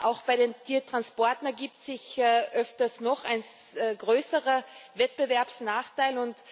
Auch bei den Tiertransporten ergibt sich öfters noch ein größerer Wettbewerbsnachteil.